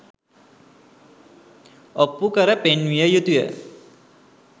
ඔප්පු කර පෙන්විය යුතු ය.